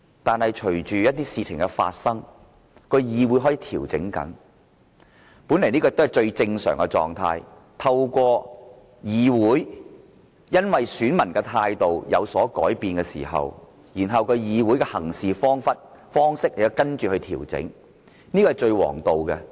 但是，隨着一些事情的發生，議會開始調整，本來這是最正常的，因為當選民的態度有所改變，議會的行事方式亦會跟着調整，這是最王道。